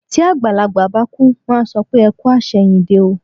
Tí àgbàlagbà bá kú, wọ́n á sọ pé "ẹ kú àṣẹ̀yìndé o".